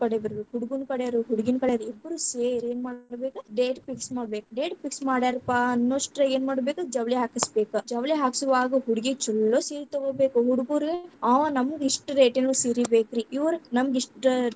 ಬರಬೇಕ, ಹುಡುಗುನ್ನ ಕಡೆಯವ್ರ ಹಡುಗಿನ್ನಕಡೆ ಇಬ್ರೂ ಸೇರಿ ಏನ್ ಮಾಡ್ಕೊ ಬೇಕ್, date fix ಮಾಡ್ಬೇಕ್, date fix ಮಾಡ್ಯಾರಪ್ಪಾ ಅನ್ನೋಷ್ಟರಾಗ ಏನ್‌ ಮಾಡ್ಬೇಕ್ ಜವಳಿ ಹಾಕಸ್ಬೇಕ, ಜವಳಿ ಹಾಕ್ಸುವಾಗ ಹುಡ್ಗಿ ಛಲ್ಲೋ ಸೀರಿ ತಗೋಬೇಕ್, ಹುಡುಗುರು ಆ ನಮಗ್‌ ಇಸ್ಟ್ rate ನ್ ಸೀರಿ ಬೇಕರ್ರೀ, ಇವ್ರ್ ಇಸ್ಟ್ .